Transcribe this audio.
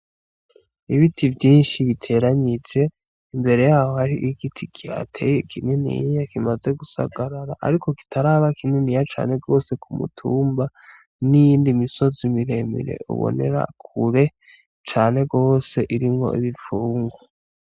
Ibiti vyinshi biteranije, imbere yaho hari igiti kihateye kininiya kimaze gusagarara, ariko kitaraba kininiya cane gose kumutumba, n'iyindi misozi miremire ubonera kure cane gose irimwo ibipfungu.